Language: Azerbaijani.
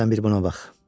Sən bir buna bax.